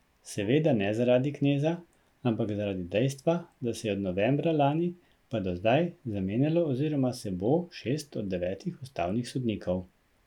Seveda ne zaradi Kneza, ampak zaradi dejstva, da se je od novembra lani pa do zdaj zamenjalo oziroma se bo šest od devetih ustavnih sodnikov.